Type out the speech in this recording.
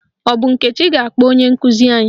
Ọ bụ Nkechi ga-akpọ onye nkụzi anyị?